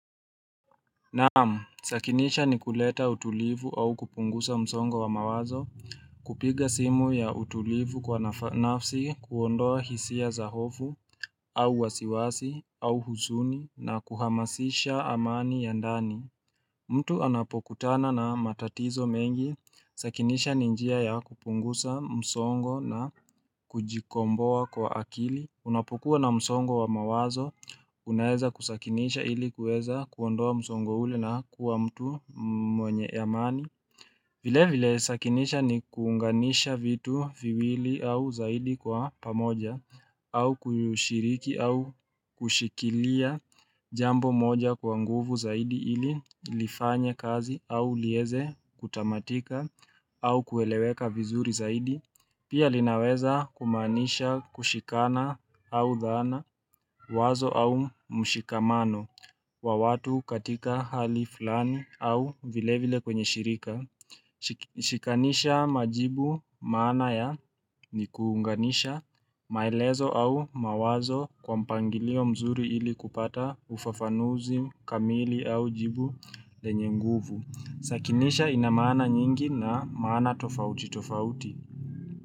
Naamu sakinisha ni kuleta utulivu au kupungusa msongo wa mawazo kupiga simu ya utulivu kwa nafasi kuondoa hisia zahofu au wasiwasi au huzuni na kuhamasisha amani ya ndani mtu anapokutana na matatizo mengi sakinisha ninjia ya kupunguza msongo na kujikomboa kwa akili Unapukua na msongo wa mawazo, unaeza kusakinisha ili kueza kuondoa msongo hule na kuwa mtu mwenye amani. Vile vile sakinisha ni kuunganisha vitu viwili au zaidi kwa pamoja, au kushiriki au kushikilia jambo moja kwa nguvu zaidi ili lifanya kazi, au lieze kutamatika, au kueleweka vizuri zaidi. Pia linaweza kumanisha kushikana au dhana wazo au mshikamano wa watu katika hali flani au vile vile kwenye shirika. Shikanisha majibu mana ya ni kuunganisha maelezo au mawazo kwa mpangilio mzuri ili kupata ufafanuzi kamili au jibu lenye nguvu. Sakinisha inamana nyingi na mana tofauti tofauti.